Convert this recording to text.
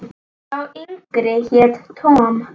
Sá yngri hét Tom.